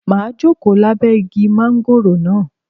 Màá jókòó lábẹ́ igi mángóròò náà